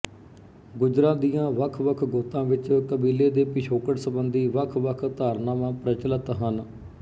ਗੁੱਜਰਾਂ ਦੀਆਂ ਵੱਖ ਵੱਖ ਗੋਤਾਂ ਵਿਚ ਕਬੀਲੇ ਦੇ ਪਿਛੋਕੜ ਸਬੰਧੀ ਵੱਖ ਵੱਖ ਧਾਰਨਾਵਾਂ ਪ੍ਰਚਲਤ ਹਨ